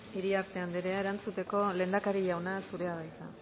iriarte anderea erantzuteko lehendakari jauna zurea da hitza